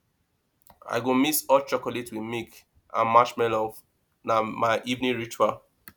i go mix hot chocolate with milk and marshmallov na my evening ritual